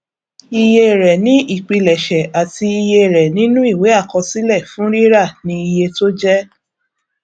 iye rẹ ni ìpilẹṣẹ àti iye rẹ nínú ìwé àkọsílẹ fún rírà ni iye tó jẹ